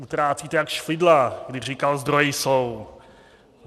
Utrácíte jak Špidla, když říkal: "Zdroje jsou."